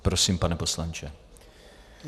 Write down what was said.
Prosím, pane poslanče.